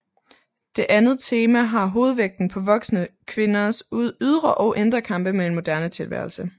Det andet tema har hovedvægten på voksne kvinders ydre og indre kampe med en moderne tilværelse